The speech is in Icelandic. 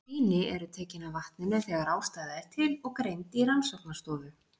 Sýni eru tekin af vatninu þegar ástæða er til og greind í rannsóknarstofu.